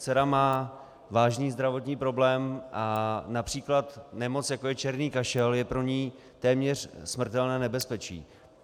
Dcera má vážný zdravotní problém a například nemoc, jako je černý kašel, je pro ni téměř smrtelné nebezpečí.